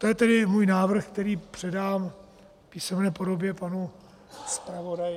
To je tedy můj návrh, který předám v písemné podobě panu zpravodaji.